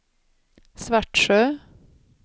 Svartsjö